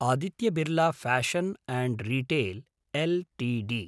Aditya Birla fashion and retail Ltd